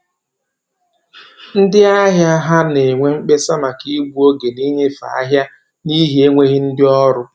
Ndị ahịa ha na-enwe mkpesa maka igbu oge na-inyefe ahịa n'ihi enweghị ndị ọrụ